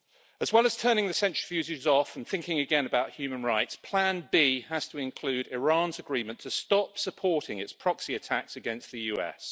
As well as turning the centrifuges off and thinking again about human rights, plan B has to include Iran's agreement to stop supporting its proxy attacks against the US.